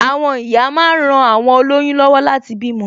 Àwọn ìyá máa ń ran awon oloyun lọwọ láti bímọ